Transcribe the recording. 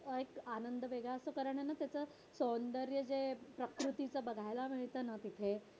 एक आनंद वेगळा असतो कारण त्याच सौंदर्य आहे ना जे प्रकृतीचं बघायला मिळत ना तिथे